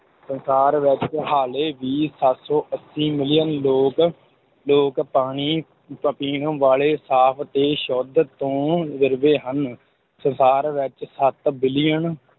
ਸੰਸਾਰ ਵਿੱਚ ਹਾਲੇ ਵੀ ਸੱਤ ਸੌ ਅੱਸੀ ਮਿਲੀਅਨ ਲੋਕ, ਲੋਕ ਪਾਣੀ ਪ~ ਪੀਣ ਵਾਲੇ ਸਾਫ ਤੇ ਸ਼ੁੱਧ ਤੋਂ ਵਿਰਵੇ ਹਨ, ਸੰਸਾਰ ਵਿੱਚ ਸੱਤ ਬਿਲੀਅਨ